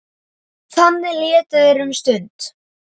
Þannig létu þeir um stund.